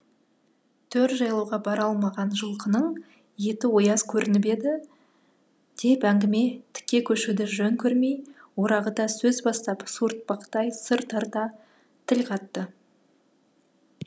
төр жайлауға бара алмаған жылқының еті ояз көрініп еді деп әңгіме тіке көшуді жөн көрмей орағыта сөз бастап суыртпақтай сыр тарта тіл қатты